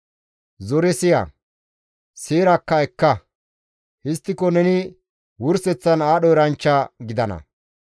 Zore siya; seerakka ekka. Histtiko neni wurseththan aadho eranchcha gidana.